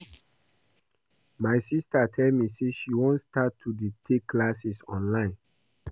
My sister tell me say she wan start to dey take classes online